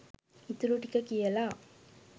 ඉතුරු ටික කියලා